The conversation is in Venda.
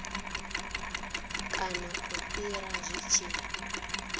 kana u fhira zwi tshi